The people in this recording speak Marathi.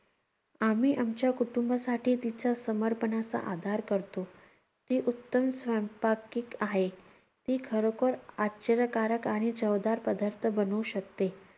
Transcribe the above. आम्ही आमच्या कुटुंबासाठी तिच्या समर्पणाचा आधार करतो. ती उत्तम स्वयंपाकीक आहे. ती खरोखर आश्चर्यकारक आणि चवदार पदार्थ बनवू शकते.